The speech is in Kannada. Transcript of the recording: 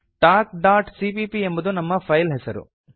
talkಸಿಪಿಪಿ ಎಂಬುದು ನಮ್ಮ ಫೈಲ್ ಹೆಸರು